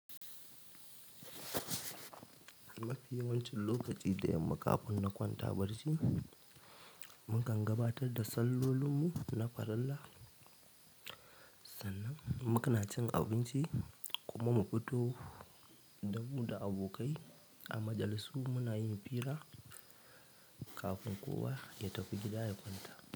Mafi yawancin lokaci da yamma kafin na kwanta barci, mukan gabatar da sallolinmu na farillah. Sannan muna cin abinci kuma mu fito da mu da abokai a majalisu muna yin fira kafin kowa ya tafi gida ya kwanta.